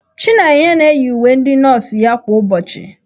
Chinenye na-eyi uwe ndị nọọsụ ya kwa ụbọchị.